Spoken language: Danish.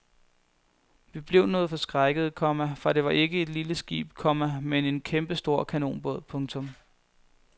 Vi blev noget forskrækkede, komma for det var ikke et lille skib, komma men en kæmpestor kanonbåd. punktum